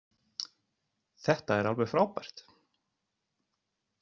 Þetta er alveg frábært.